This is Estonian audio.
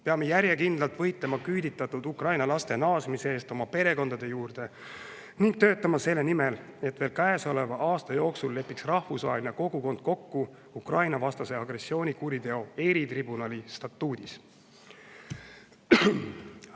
Peame järjekindlalt võitlema küüditatud Ukraina laste naasmise eest oma perekondade juurde ning töötama selle nimel, et veel käesoleva aasta jooksul lepiks rahvusvaheline kogukond kokku Ukraina-vastase agressioonikuriteo eritribunali statuudis.